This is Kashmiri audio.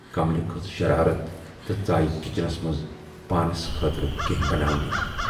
"کملہِ کھٔژ شرارت تہٕ ژایہِ کِچنس منز پانَس خٲطرٕ کینہہ بناوننہِ۔